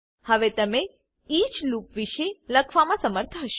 હવે તમે each loop વિષે લખવામા સમર્થ હશો